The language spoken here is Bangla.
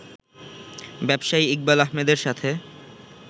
ব্যবসায়ী ইকবাল আহমেদের সাথে